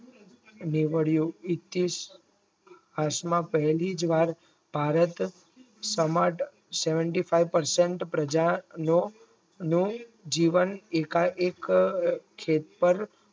નેવળીયો ઇતીશ હાશમાં પહેલીજ વાર ભારત સમદ Seventy five percent પ્રજાની જીવન એકા એક ખેતર